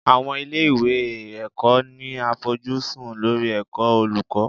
Àwọn ilé ìwé ẹ̀kọ́ ní àfojúsùn lórí ẹ̀kọ́ olùkọ́.